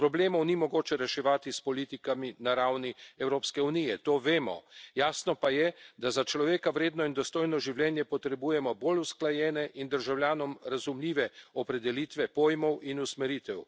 Problemov ni mogoče reševati s politikami na ravni Evropske unije, to vemo, jasno pa je, da za človeka vredno in dostojno življenje potrebujemo bolj usklajene in državljanom razumljive opredelitve pojmov in usmeritev.